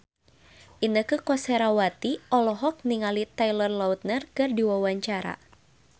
Inneke Koesherawati olohok ningali Taylor Lautner keur diwawancara